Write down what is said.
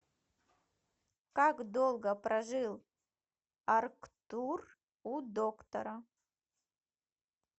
как долго прожил арктур у доктора